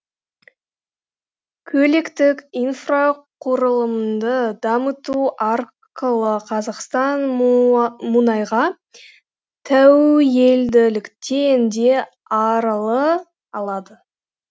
көліктік инфрақұрылымды дамыту арқылы қазақстан мұнайға тәуелділіктен де арыла алады